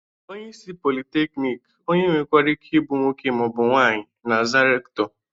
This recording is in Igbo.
Onyeisi pọlịteknịk, onye nwekwara Ike ịbụ nwoke ma ọ bụ nwaanyị, na-aza rektọ.